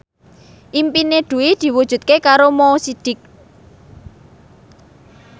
impine Dwi diwujudke karo Mo Sidik